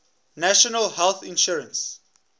national health insurance